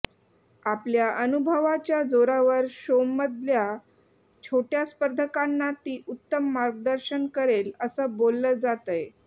आपल्या अनुभवाच्या जोरावर शोमधल्या छोट्या स्पर्धकांना ती उत्तम मार्गदर्शन करेल असं बोललं जातंय